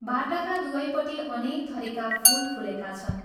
बाटाका दुवैपट्टि अनेक थरीका फूल फूलेका छन्।